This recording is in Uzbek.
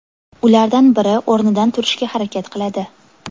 Ulardan biri o‘rnidan turishga harakat qiladi.